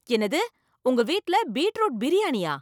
என்னது, உங்க வீட்டுல பீட்ரூட் பிரியாணியா!